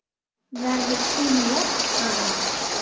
Verður hún jöfn eða?